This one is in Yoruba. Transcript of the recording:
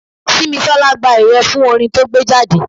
Simisola gba ẹ̀yẹ fún orin to gbé jáde.